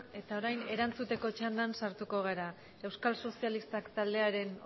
eta orain erantzuteko txandan sartuko gara euskal sozialistak taldearen